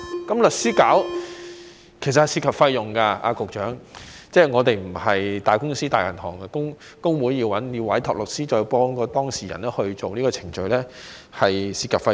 找律師處理其實會涉及費用，局長，即我們並非大公司或大銀行，工會要委託律師再協助當事人進行這個程序會涉及費用。